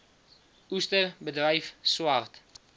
oester bedryf swart